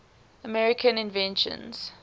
american inventions